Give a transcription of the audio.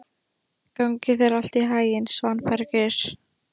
Gangi þér allt í haginn, Svanbergur.